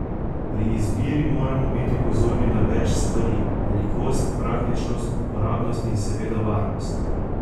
Pri izbiri moramo biti pozorni na več stvari, velikost, praktičnost, uporabnost in seveda varnost.